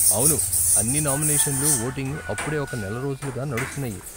అవును, అన్ని నామినేషన్లు, వోటింగ్ అప్పుడే ఒక నెల రోజులుగా నడుస్తున్నాయి.